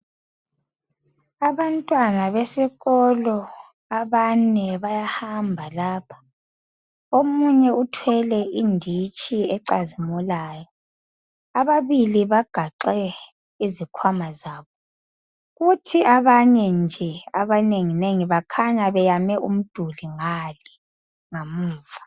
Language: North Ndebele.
Abantwana besikolo abane bayahamba lapha. Omunye uthwele inditshi ecazimulayo. Ababili bagaxe izikhwama zabo. Kuthi abanye nje, abanenginengi, bakhanya beyame umduli, ngale ngamuva.